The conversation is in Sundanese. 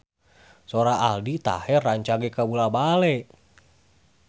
Sora Aldi Taher rancage kabula-bale